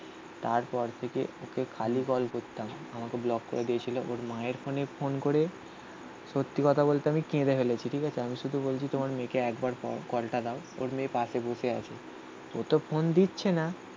তারপর থেকে ওকে খালি কল করতাম. আমাকে ব্লক করে দিয়েছিল. ওর মায়ের ফোনে ফোন করে. সত্যি কথা বলতে আমি কেঁদে ফেলেছি. ঠিক আছে? আমি শুধু বলছি তোমার মেয়েকে একবার কলটা দাও. ওর মেয়ে পাশে বসে আছো. ও তো ফোন দিচ্ছে না.